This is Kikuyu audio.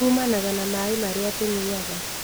Uumanaga na maaĩ marĩa tũnyuaga